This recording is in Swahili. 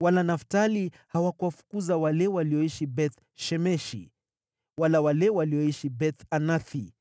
Wala Naftali hawakuwafukuza wale walioishi Beth-Shemeshi wala wale walioishi Beth-Anathi;